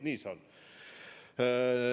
Nii see on.